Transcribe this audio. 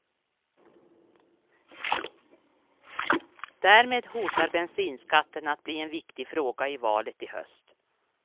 Därmed hotar bensinskatten att bli en viktig fråga i valet i höst.